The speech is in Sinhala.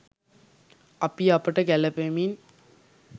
අපි අපට ගැළපෙමින්